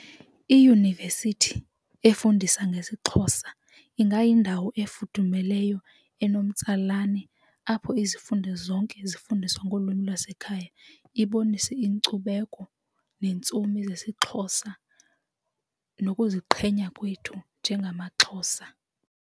Iyunivesithi efundisa ngesiXhosa ingayindawo efudumeleyo enomtsalane apho izifundo zonke ezifundiswa ngolwimi lwasekhaya ibonise inkcubeko neentsomi zesiXhosa nokuziqhenya kwethu njengamaXhosa.